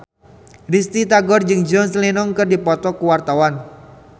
Risty Tagor jeung John Lennon keur dipoto ku wartawan